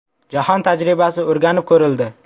Jahon tajribasi o‘rganib ko‘rildi.